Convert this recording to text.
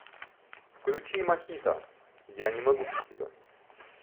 включи мохито я не могу без тебя